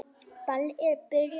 Ballið er byrjað.